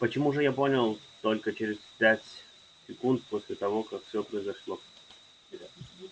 почему же я это понял только через пять секунд после того как все произошло